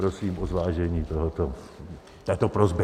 Prosím o zvážení této prosby.